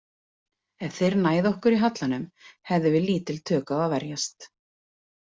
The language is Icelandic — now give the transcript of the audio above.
Ef þeir næðu okkur í hallanum hefðum við lítil tök á að verjast.